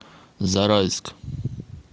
зарайск